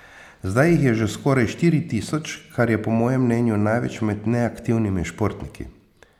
Zdaj jih je že skoraj štiri tisoč, kar je po mojem mnenju največ med neaktivnimi športniki.